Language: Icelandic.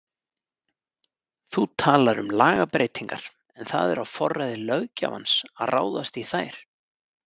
Þú talar um lagabreytingar en það er á forræði löggjafans að ráðast í þær?